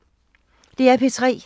DR P3